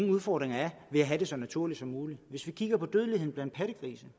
udfordringer ved at have det så naturligt som muligt hvis vi kigger på dødeligheden blandt pattegrise